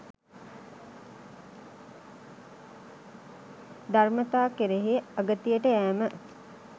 ධර්මතා කෙරෙහි අගතියට යෑම